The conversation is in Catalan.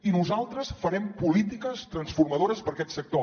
i nosaltres farem polítiques transformadores per a aquest sector